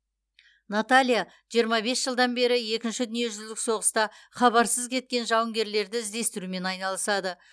наталья жиырма бес жылдан бері екінші дүниежүзілік соғыста хабарсыз кеткен жауынгерлерді іздестірумен айналысады